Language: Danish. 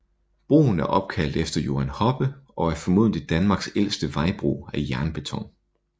Broen er opkaldt efter Johan Hoppe og er formodentlig Danmarks ældste vejbro af jernbeton